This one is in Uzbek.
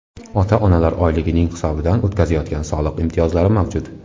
Ota-onalar oyligining hisobidan o‘tkazayotganda soliq imtiyozlari mavjud.